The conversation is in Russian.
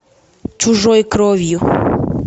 чужой кровью